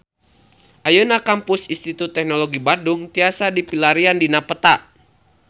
Ayeuna Kampus Institut Teknologi Bandung tiasa dipilarian dina peta